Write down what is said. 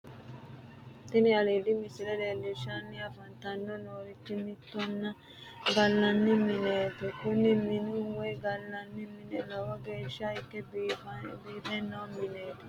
Tini aliidi misile leellishshanni afantanni nooti minenna gallanni mineeti kuni minu woyi gallanni mini lowo geeshsha ikke biife noo mineeti